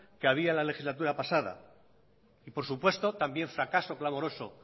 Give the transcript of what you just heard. que había en la legislatura pasada y por supuesto también fracaso clamoroso